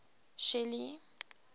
shelly